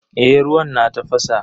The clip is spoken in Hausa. Eh ruwan na tafasa.